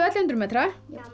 hundruð metra